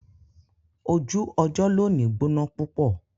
Ojú ọjọ̀ lóní gbọná púpọ̀